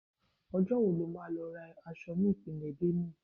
Ọjọ́ wo lo máa lọ ra èso ní Ìpínlẹ̀ Benue?